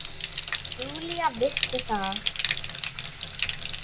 Júlía vissi það.